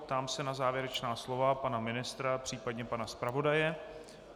Ptám se na závěrečná slovo pana ministra, případně pana zpravodaje.